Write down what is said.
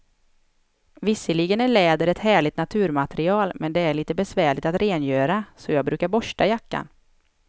Visserligen är läder ett härligt naturmaterial, men det är lite besvärligt att rengöra, så jag brukar borsta jackan.